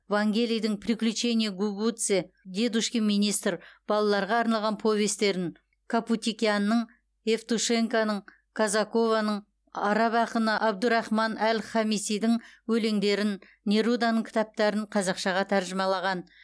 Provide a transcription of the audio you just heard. вангелидің приключения гугуце дедушкин министр балаларға арналған повестерін капутикянның евтушенконың казакованың араб ақыны әбдурахман әл хамисидің өлеңдерін неруданың кітаптарын қазақшаға тәржімалаған